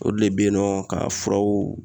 Olu de bɛ yen nɔ ka furaw